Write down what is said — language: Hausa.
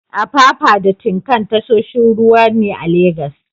Apapa da Tin Can tashoshin jiragen ruwa ne a Legas.